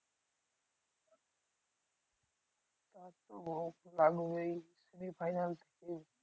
semi final